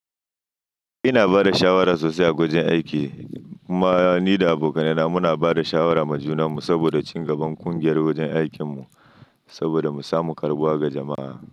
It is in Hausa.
Ina ba da shawara sosai a wajen aiki. Kuma ni da abokanaina muna ba da shawara ma junanmu saboda cingaban ƙungiyar wajen aikin mu saboda mu samu karɓuwa ga jama'a.